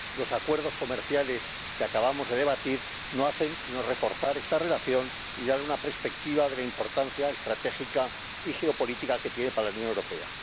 Los acuerdos comerciales que acabamos de debatir no hacen sino reforzar esta relación y dar una perspectiva de la importancia estratégica y geopolítica que tiene para la Unión Europea.